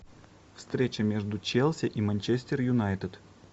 встреча между челси и манчестер юнайтед